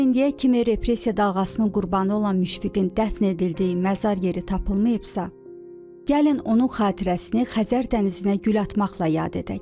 Əgər indiyə kimi repressiya dalğasının qurbanı olan Müşfiqin dəfn edildiyi məzar yeri tapılmayıbsa, gəlin onun xatirəsini Xəzər dənizinə gül atmaqla yad edək.